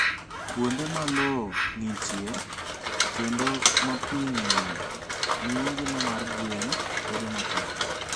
Kuonde ma lowo ng'ichie kendo ma pi ng'enyie, miyo ngima mar gwen bedo matek.